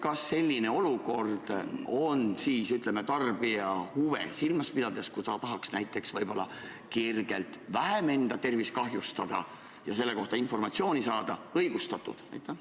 Kas selline olukord on siis, ütleme, pidades silmas tarbija huve, kui ta tahab näiteks võib-olla vähem enda tervist kahjustada ja selle kohta informatsiooni saada, õigustatud?